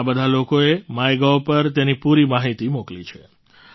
આ બધા લોકોએ માયગોવ પર તેની પૂરી માહિતી મોકલી છે